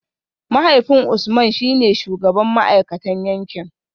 Mahaifin Usman shi ne shugaban ma’aikatan yankin